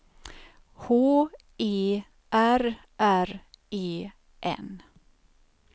H E R R E N